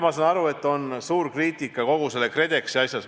Ma saan aru, et on suur kriitika selles KredExi asjas.